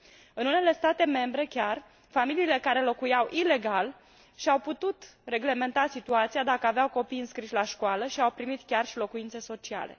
În unele state membre chiar, familiile care locuiau ilegal și au putut reglementa situația dacă aveau copii înscriși la școală și au primit chiar și locuințe sociale.